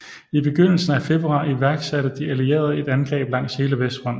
I begyndelsen af februar iværksatte de allierede et angreb langs hele Vestfronten